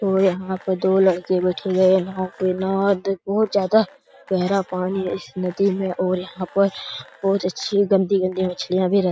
और यहाँ पर दो लड़के बैठे हुए है नाव पे नाव बहुत ज्यादा गहरा पानी है इस नदी में और यहाँ पर बहुत अच्छी गन्दी-गन्दी मछलियां भी रहती --